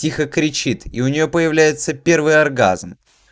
тихо кричит и у нее появляется первый оргазм